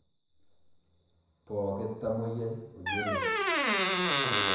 Pokii tamoyia oyioloi.